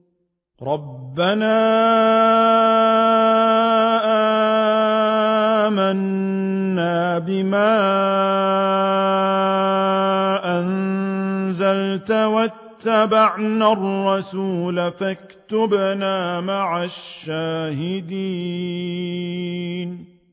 رَبَّنَا آمَنَّا بِمَا أَنزَلْتَ وَاتَّبَعْنَا الرَّسُولَ فَاكْتُبْنَا مَعَ الشَّاهِدِينَ